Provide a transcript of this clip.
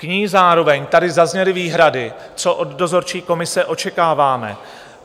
K ní zároveň tady zazněly výhrady, co od dozorčí komise očekáváme.